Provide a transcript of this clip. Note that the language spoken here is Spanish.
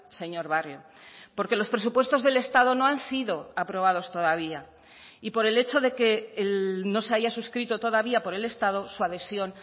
señor barrio porque los presupuestos del estado no han sido aprobados todavía y por el hecho de que no se haya suscrito todavía por el estado su adhesión